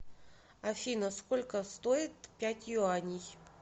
афина сколько стоит пять юаней